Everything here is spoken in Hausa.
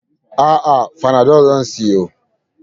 A'a, fanadol zan siyo.